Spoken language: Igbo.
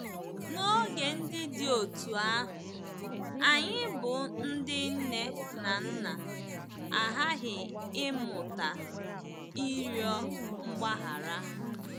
N'oge ndị dị otú ahụ, anyị bụ́ ndị nne na nna aghaghị ịmụta ịrịọ mgbaghara.